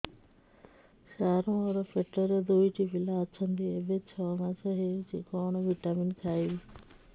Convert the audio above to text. ସାର ମୋର ପେଟରେ ଦୁଇଟି ପିଲା ଅଛନ୍ତି ଏବେ ଛଅ ମାସ ହେଇଛି କଣ ଭିଟାମିନ ଖାଇବି